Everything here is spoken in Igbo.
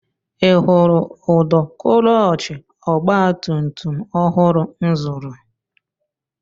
I hụrụ ụdọ klọọchị ọgbatumtum ọhụrụ m zụrụ?